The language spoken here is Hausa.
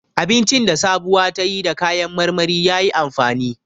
Abincin da Sabuwa ta yi da kayan marmari ya yi amfani.